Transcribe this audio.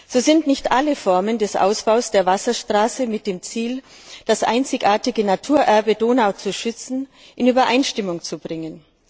So sind nicht alle Formen des Ausbaus der Wasserstraße mit dem Ziel, das einzigartige Naturerbe Donau zu schützen, in Übereinstimmung zu bringen.